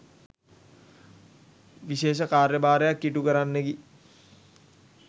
විශේෂ කාර්යභාරයක් ඉටු කරන්නකි.